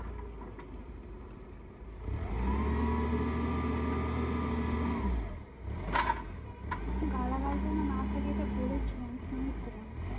গালাগাল যেন না থাকে এটা বলেছিলাম শুনেছিলাম